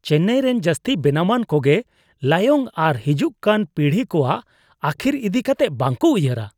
ᱪᱮᱱᱱᱟᱭᱨᱮᱱ ᱡᱟᱹᱥᱛᱤ ᱵᱮᱱᱟᱣᱟᱱ ᱠᱚᱜᱮ ᱞᱟᱭᱚᱝ ᱟᱨ ᱦᱤᱡᱩᱜ ᱠᱟᱱ ᱯᱤᱲᱦᱤ ᱠᱚᱣᱟᱜ ᱟᱹᱠᱷᱤᱨ ᱤᱫᱤ ᱠᱟᱛᱮ ᱵᱟᱝᱠᱚ ᱩᱭᱦᱟᱹᱨᱟ ᱾